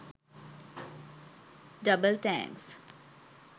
Double thanks.